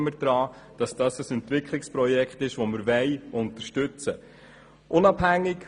Glauben wir daran, dass es sich um ein Entwicklungsprojekt handelt, welches wir unterstützen wollen?